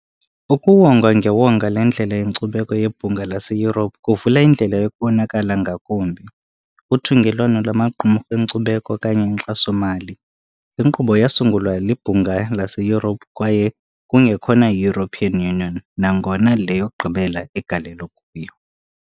Ukuwongwa ngewonga leNdlela yeNkcubeko yeBhunga laseYurophu kuvula indlela yokubonakala ngakumbi, uthungelwano lwamaqumrhu enkcubeko okanye inkxaso-mali. Inkqubo yasungulwa yiBhunga laseYurophu kwaye kungekhona yi-European Union, nangona le yokugqibela igalelo kuyo.